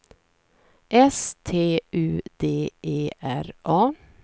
S T U D E R A